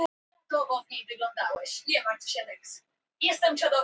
Marsibil, mun rigna í dag?